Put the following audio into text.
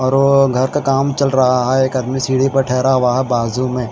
और घर का काम चल रहा है एक आदमी सीढ़ी पर ठहरा हुआ है बाजू में--